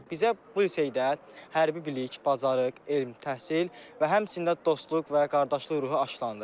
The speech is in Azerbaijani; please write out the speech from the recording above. Bizə bu liseydə hərbi bilik, bacarıq, elm, təhsil və həmçinin də dostluq və qardaşlıq ruhu aşlandı.